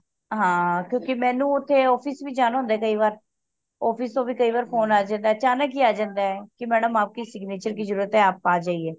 ਹਾਂ ਕਿਉਂਕਿ ਮੈਨੂੰ ਓਥੇ OFFICE ਵੀ ਜਾਣਾ ਹੁੰਦਾ ਕਯੀ ਵਾਰ office ਤੋਂ ਵੀ ਕਿ ਵਾਰ phone ਆ ਜਾਂਦਾ ਅਚਾਨਕ ਹੀ ਆ ਜਾਂਦਾ ਕਿ madam ਆਪਕੇ signature ਕਿ ਜਰੂਰਤ ਹੈ ਆਪ ਆ ਜਾਈਏ